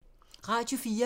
Radio 4